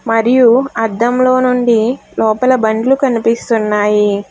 మరియు అద్దంలో నుండి లోపల బండ్లు కనిపిస్తున్నాయి.